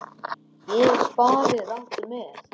Hér er farið rangt með.